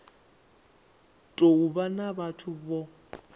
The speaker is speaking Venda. tou vha na vhathu vho